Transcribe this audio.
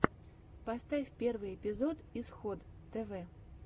поставь первый эпизод исход тв